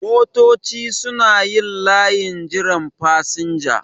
Motoci suna yin layin jiran fasinja